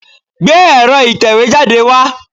Gbé ẹ̀rọ ìtẹ̀wẹ́ jáde wá.